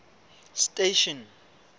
station